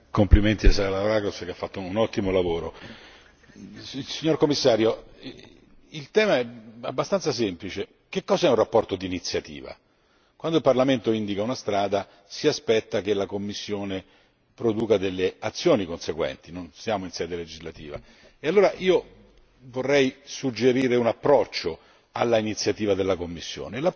Signora Presidente, onorevoli colleghi, complimenti a Salavrakos che ha fatto un ottimo lavoro. Signora Commissario, il tema è abbastanza semplice che cos'è una relazione d'iniziativa? Quando il Parlamento indica una strada si aspetta che la Commissione produca delle azioni conseguenti, non siamo in sede legislativa e allora io vorrei suggerire un approccio all'iniziativa della Commissione.